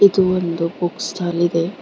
ಇದು ಒಂದು book stall ಇದೆ.